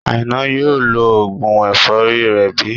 Àìná yóò lo oògùn ẹ̀fọ́rí rẹ̀ bí?